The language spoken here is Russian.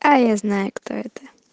а я знаю кто это